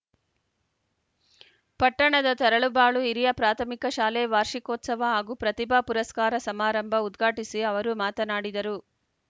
ಪಟ್ಟಣದ ತರಳಬಾಳು ಹಿರಿಯ ಪ್ರಾಥಮಿಕ ಶಾಲೆ ವಾರ್ಷಿಕೋತ್ಸವ ಹಾಗೂ ಪ್ರತಿಭಾ ಪುರಸ್ಕಾರ ಸಮಾರಂಭ ಉದ್ಘಾಟಿಸಿ ಅವರು ಮಾತನಾಡಿದರು